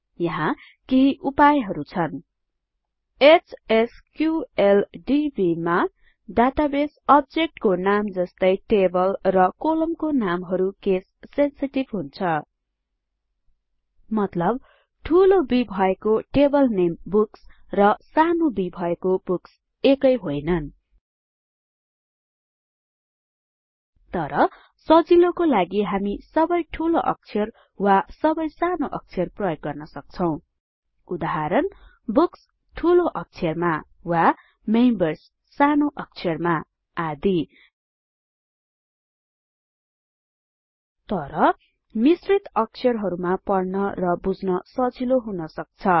यहाँ केही उपायहरु छन् एचएसक्यूएलडीबी मा डाटाबेस अब्जेक्टको नाम जस्तै टेबल र कोलमको नामहरु केस सेंसिटिभ हुन्छ मतलब ठूलो B भएको टेबल नेम बुक्स र सानो b भएको बुक्स एकै होइनन् तर सजिलोको लागि हामी सबै ठूलो अक्षर वा सबै सानो अक्षर प्रयोग गर्न सक्छौं उदाहरणBOOKS ठुलो अक्षरमा वा मेम्बर्स सानो अक्षरमा आदि तर मिश्रित अक्षरहरुमा पढन र बुझन सजिलो हुन् सक्छ